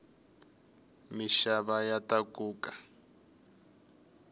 mixava ya takuka